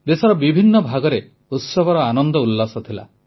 ଦେଶର ବିଭିନ୍ନ ଭାଗରେ ଉତ୍ସବର ଆନନ୍ଦ ଉଲ୍ଲାସ ଥିଲା